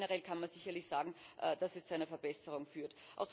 Aber generell kann man sicherlich sagen, dass es zu einer Verbesserung führt.